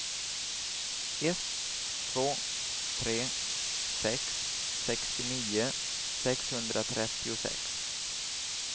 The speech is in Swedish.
ett två tre sex sextionio sexhundratrettiosex